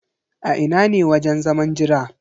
A ina ne wajen zaman jiran?